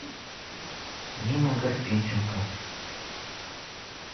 нина гарпенченко